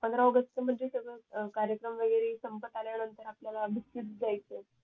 पंधरा आगस्ट तर म्हणजे सगळं कार्यक्रम वैगेरे संपत आल्यानंतर आपल्याला बिस्कीट द्यायचे